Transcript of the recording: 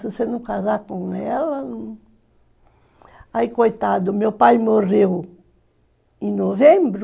Se você não casar com ela... Aí, coitado, meu pai morreu em novembro.